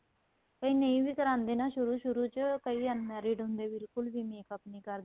ਕੋਈ ਨਹੀਂ ਵੀ ਕਰਾਦੇ ਨਾ ਸ਼ੁਰੂ ਸ਼ੁਰੂ ਚ ਕਈ unmarried ਹੁੰਦੇ ਬਿਲਕੁਲ ਵੀ makeup ਨਹੀਂ ਕਰਦੇ